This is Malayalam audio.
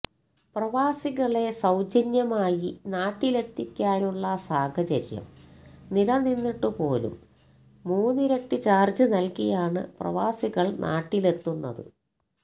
പ്രവാസികളെ സൌജന്യമായി നാട്ടിലെത്തിക്കാനുള്ള സാഹചര്യം നിലനിന്നിട്ടുപോലും മൂന്നിരട്ടി ചാര്ജ് നല്കിയാണ് പ്രവാസികള് നാട്ടിലെത്തുന്നത്